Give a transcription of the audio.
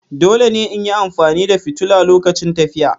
Dole ne in yi amfani da fitilu lokacin tafiya.